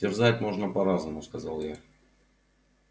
терзать можно по-разному сказал я